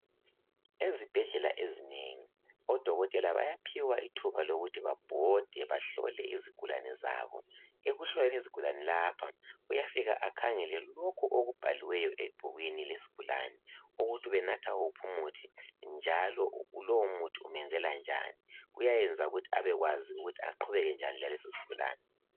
Ezibhedlela ezinengi odokotela bayaphiwa ithuba lokuthi babhode bahlole izigulane zabo, ekuhloleni izigulane lapha uyafika akhangele lokhu okubhaliwe ebhukwini lesigulane ukuthi ubenatha wuphi umuthi njalo lowu muthi umenzela njani kuyayenza ukuthi abekwazi aqhubeke njani lalesosigulane.